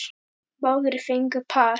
Báðir fengu par.